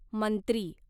मंत्री